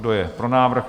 Kdo je pro návrh?